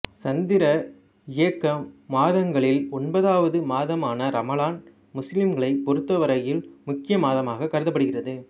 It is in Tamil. சந்திர இயக்க மாதங்களில் ஒன்பதாவது மாதமான ரமலான் முஸ்லிம்களைப் பொருத்தவரையில் முக்கிய மாதமாகக் கருதப்படுகிறது